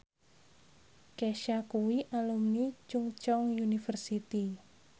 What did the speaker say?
Kesha kuwi alumni Chungceong University